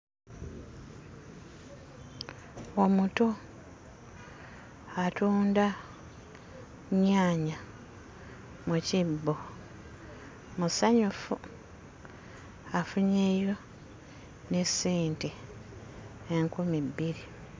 Omuto atunda nnyaanya mu kibbo, musanyufu afunyeeyo n'essente enkumi bbiri.